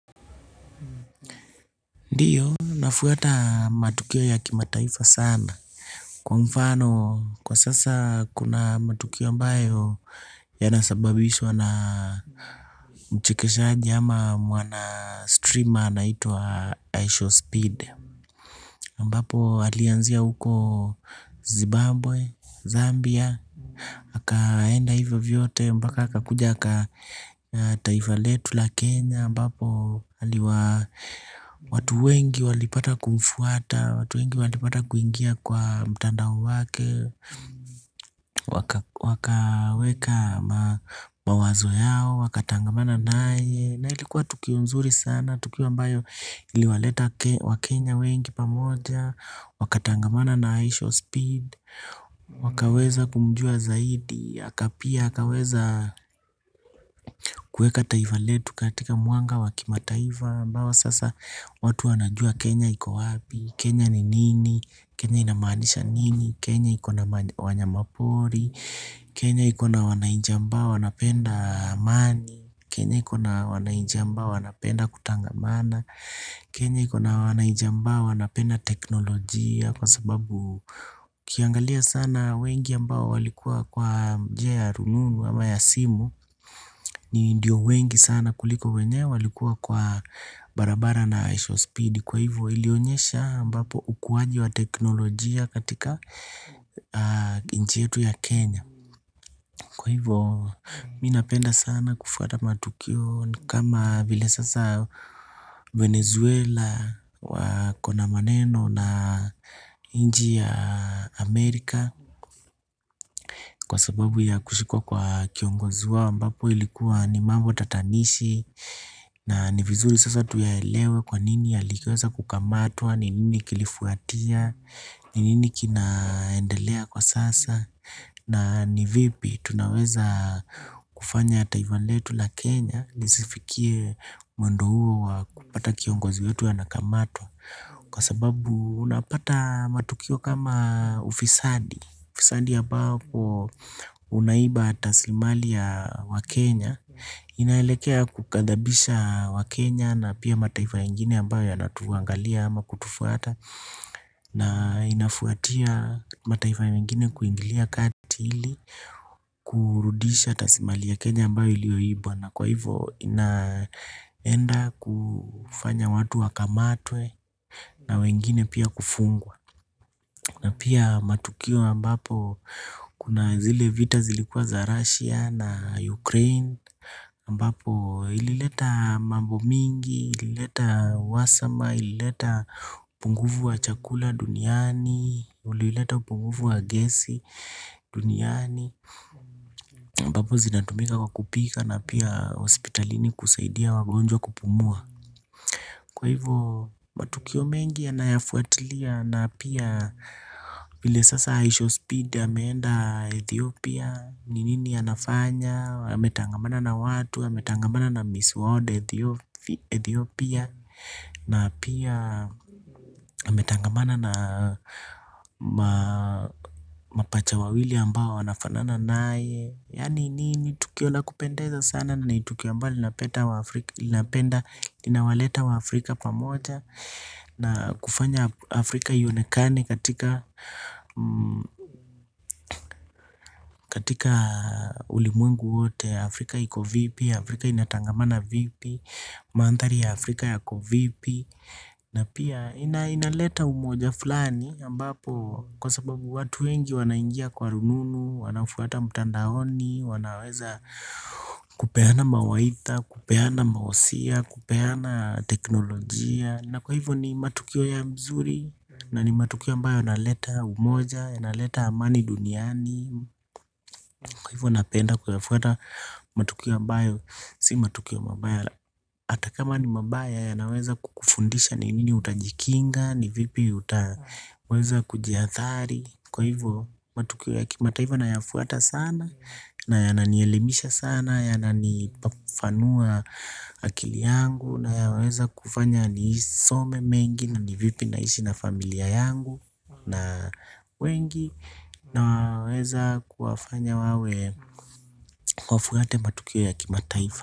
Ndiyo nafuata matukio ya kimataifa sana kwa mfano kwa sasa kuna matukio ambayo yanasababishwa na mchekeshaji ama mwana streamer anaitwa ishow Speed ambapo alianzia huko Zimbabwe Zambia akaenda hivyo vyote mpaka akakuja aka taifa letu la Kenya ambapo, watu wengi walipata kumfuata. Watu wengi walipata kuingia kwa mtandao wake. Wakaweka mawazo yao. Wakatangamana naye. Na ilikuwa tukio mzuri sana. Tukio ambayo iliwaleta wakenya wengi pamoja. Wakatangamana na ishow speed. Wakaweza kumjua zaidi aka pia, akaweza kueka taifa letu katika mwanga wa kimataifa ambao sasa watu wanajua Kenya iko wapi, Kenya ni nini, Kenya inamaanisha nini, Kenya iko na wanyamapori, Kenya iko na wanainchi ambao wanapenda amani, Kenya iko na wanainchi ambao wanapenda kutangamana, Kenya iko na wanainchi ambao wanapenda teknolojia kwa sababu ukiangalia sana wengi ambao walikuwa kwa njia ya rununu ama ya simu. Ni ndio wengi sana kuliko wenye walikuwa kwa barabara na ishow speed. Kwa hivyo ilionyesha ambapo ukuwaji wa teknolojia katika nchi yetu ya Kenya. Kwa hivo mi napenda sana kufuata matukio kama vile sasa Venezuela uko na maneno na nchi ya Amerika. Kwa sababu ya kushikwa kwa kiongozi wao ambapo ilikuwa ni mambo tatanishi. Na ni vizuri sasa tuyaelewe kwa nini aliweza kukamatwa, ni nini kilifuatia, ni nini kinaendelea kwa sasa. Na ni vipi tunaweza kufanya taifa letu la Kenya, lisifikie mwendo huo wa kupata kiongozi wetu anakamatwa. Kwa sababu unapata matukio kama ufisadi, ufisadi ya ambapo unaiba rasilimali ya wakenya. Inaelekea kukadhabisha wa Kenya na pia mataifa ingine ambayo yanatuangalia ama kutufuata. Na inafuatia mataifa mengine kuingilia kati ili kurudisha rasilimali ya Kenya ambayo ilioibwa. Na kwa hivo inaenda kufanya watu wakamatwe na wengine pia kufungwa. Na pia matukio ambapo kuna zile vita zilikuwa za Russia na Ukraine ambapo ilileta mambo mingi, ilileta wasama, ilileta upunguvu wa chakula duniani, ulileta upunguvu wa gesi duniani ambapo zinatumika kwa kupika na pia hospitalini kusaidia wagonjwa kupumua. Kwa hivo matukio mengi yanayofuatilia na pia vile sasa ishow speed ameenda Ethiopia. Ni nini anafanya ametangamana na watu ametangamana na Miss World Ethiopia. Na pia ametangamana na mapacha wawili ambao wanafana naye. Yaani ni ni tukio la kupendeza sana. Na ni tukio ambalo linapenda waafrika. Linapenda linawaleta waafrika Pamoja. Na kufanya Afrika ionekane Katika Katika ulimwengu wote ya Afrika iko vipi, Afrika inatangamana vipi, mandhari ya Afrika yako vipi, na pia inaleta umoja fulani ambapo kwa sababu watu wengi wanaingia kwa rununu, wanafuata mtandaoni, wanaweza kupeana mawaidha, kupeana mahusia, kupeana teknolojia, na kwa hivyo ni matukio ya mzuri, na ni matukio ambayo yanaleta umoja, yanaleta amani duniani, kwa hivyo napenda kuyafuata matukio ambayo, si matukio mabaya ata. Kama ni mabaya yanaweza kukufundisha ni nini utajikinga, ni vipi utaweza kujiathari. Kwa hivyo, matukio ya kimataifa nayafuata sana, na yananielimisha sana, yananifafanua akili yangu, nayaweza kufanya nisome mengi, na ni vipi naishi na familia yangu, na wengi. Naweza kuwafanya wawe wafuate matukio ya kimataifa.